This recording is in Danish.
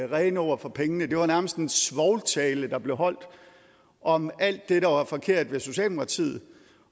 rene ord for pengene det var nærmest en svovltale der blev holdt om alt det der var forkert ved socialdemokratiet